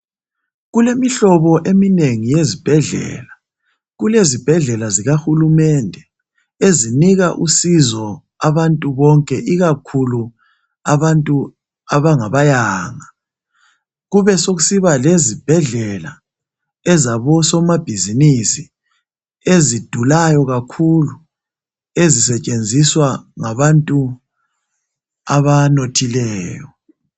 Kulemihlobo eminengi yezibhedlela, kulezibhedlela zikahulumende ezinika usizo abantu bonke ikakhulu abantu abangabayanga. Kube sokusiba lezibhedlela ezabosomabhizinisi ezidulayo kakhulu ezisetshenziswa ngabantu abanothileyo.